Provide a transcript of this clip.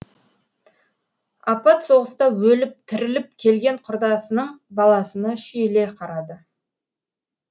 апат соғыста өліп тіріліп келген құрдасының баласына шүйіле қарады